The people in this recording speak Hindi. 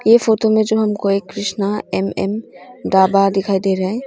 ये फोटो में जो हमको कृष्णा एम_एम ढाबा दिखाई दे रहा है।